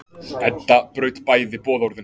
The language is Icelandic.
Edda braut bæði boðorðin.